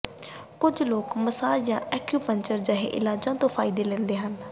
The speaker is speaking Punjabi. ਕੁਝ ਲੋਕ ਮਸਾਜ ਜਾਂ ਇਕੁੂਪੰਕਚਰ ਜਿਹੇ ਇਲਾਜਾਂ ਤੋਂ ਵੀ ਫਾਇਦਾ ਲੈਂਦੇ ਹਨ